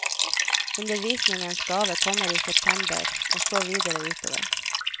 Undervisningens gave kommer i september, og så videre utover.